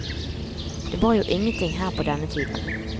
Det var jo ingenting her på denne tiden.